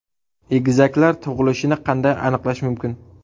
Egizaklar tug‘ilishini qanday aniqlash mumkin?.